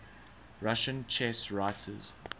russian chess writers